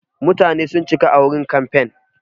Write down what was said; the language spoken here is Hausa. Mutane sun cika a wurin kamfen.